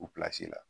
U la